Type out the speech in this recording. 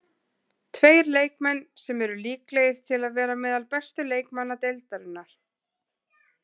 Tveir leikmenn sem eru líklegir til að vera meðal bestu leikmanna deildarinnar.